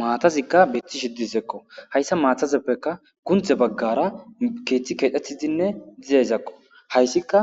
Maatazikka bethi shiddisekko hayssa maatazeppeka kunthe baggara keeththi keedhetizinne dizayzakko hayssika